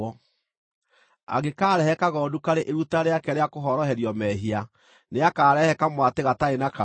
“ ‘Angĩkaarehe kagondu karĩ iruta rĩake rĩa kũhoroherio mehia, nĩakarehe kamwatĩ gatarĩ na kaũũgũ.